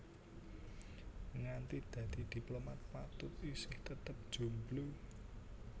Nganti dadi diplomat Patut isih tetep jomblo